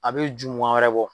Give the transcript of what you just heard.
A bɛ jumuwa wɛrɛ bɔ.